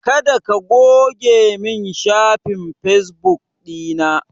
Kada ka goge min shafin fesbuk ɗina!